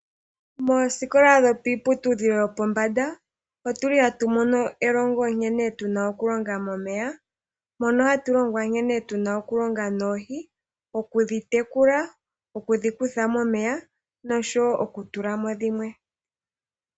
Moosikola dhomiiputudhilo yopombanda, otu li hatu mono elongo nkene tu na oku longa momeya. Mono hatu longwa nkene tu na oku longa noohi. Okudhi tekula, okudhi kutha momeya nosho wo oku tula mo dhimwe.